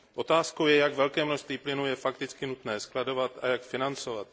Otázkou je, jak velké množství plynu je fakticky nutné skladovat a jak financovat.